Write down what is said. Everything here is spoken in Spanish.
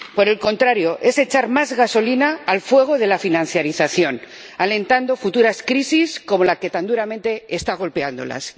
Por el contrario, es echar más gasolina al fuego de la financiación, alentando futuras crisis como la que tan duramente está golpeándolas.